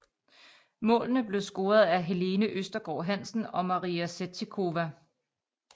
Målene blev scoret af Helene Østergaard Hansen og Maria Sevcikova